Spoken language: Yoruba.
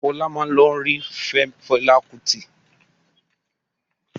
Fọlá máa lọ rí Fẹlá Kútì.